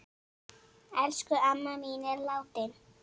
Elsku amma mín er látin.